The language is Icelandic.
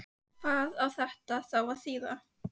Hvað á þetta þá að þýða?